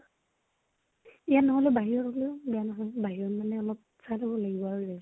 ইয়াত নহলেও । বাহিৰত হলেও বেয়া নহয় । বাহিৰত মানে আমাৰ লব লাগিব, সেইয়ায়ে